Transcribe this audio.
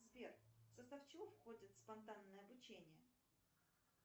сбер в состав чего входит спонтанное обучение